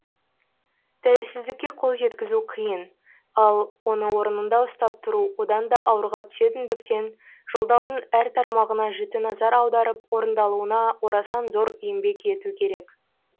тәуелсіздікке қол жеткізу қиын ал оны орнында ұстап тұру одан да ауырға түсетіндіктен жолдаудың әр тармағына жіті назар аударып орындалуына орасан зор еңбек ету керек